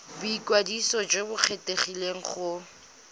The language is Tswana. boikwadiso jo bo kgethegileng go